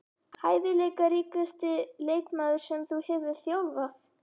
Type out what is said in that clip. Hæfileikaríkasti leikmaður sem þú hefur þjálfað?